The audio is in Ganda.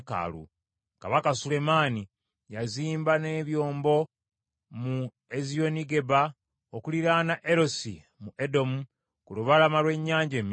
Kabaka Sulemaani yazimba n’ebyombo mu Eziyonigeba okuliraana Erosi mu Edomu, ku lubalama lw’ennyanja Emyufu.